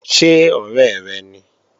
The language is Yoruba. Ṣé ọ̀rẹ́ rẹ ni?